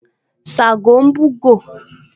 Ṣágo ń búgò